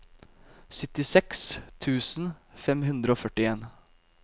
syttiseks tusen fem hundre og førtien